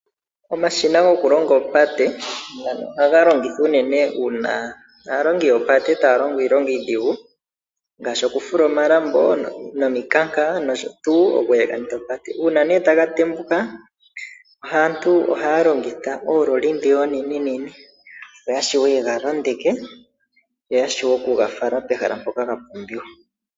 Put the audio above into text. Omashina goku longa oopate, ngano ohaga longithwa unene ngele aalongi yoopate taya longo iilonga idhigu. Ngaashi oku fula omalambo nomikanka dhopate. Una nee taga tembuka aantu ohaya longitha oololi dhiya onene nene. Opo ya shiwe yega londeke, yashiwe oku ga fala pehala mpoka ga pumbiwa.